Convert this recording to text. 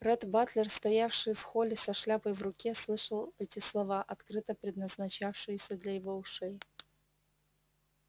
ретт батлер стоявший в холле со шляпой в руке слышал эти слова открыто предназначавшиеся для его ушей